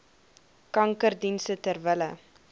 kankerdienste ter wille